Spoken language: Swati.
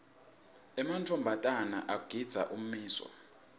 emantfombatana agindza ummiso